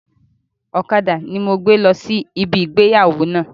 Ọ̀kadà ni mo gbé lọ sí ibi ìgbéyàwó náà